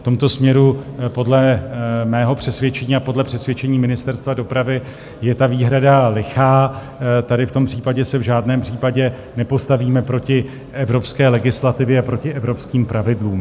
V tomto směru podle mého přesvědčení a podle přesvědčení Ministerstva dopravy je ta výhrada lichá, tady v tom případě se v žádném případě nepostavíme proti evropské legislativě a proti evropským pravidlům.